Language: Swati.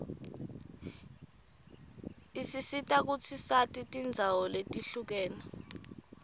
isisita kutsi sati tindzawo letihlukene